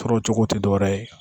Tɔɔrɔ cogo tɛ dɔwɛrɛ ye